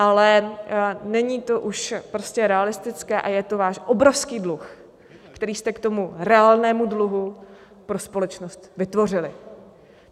Ale není to už prostě realistické a je to váš obrovský dluh, který jste k tomu reálnému dluhu pro společnost vytvořili.